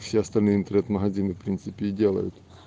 все остальные интернет-магазины в принципе и делают